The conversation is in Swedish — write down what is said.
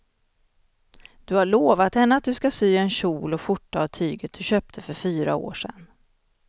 Du har lovat henne att du ska sy en kjol och skjorta av tyget du köpte för fyra år sedan.